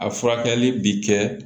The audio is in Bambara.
A furakɛli bi kɛ